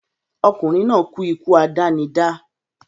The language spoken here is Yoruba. Ọkùnrin náà kú ikú àdánidá